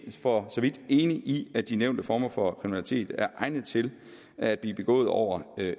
for så vidt enig i at de nævnte former for kriminalitet er egnet til at blive begået over